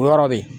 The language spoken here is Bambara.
O yɔrɔ bɛ yen